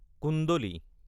কুণ্ডলী